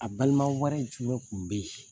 A balima wɛrɛ jumɛn kun bɛ ye?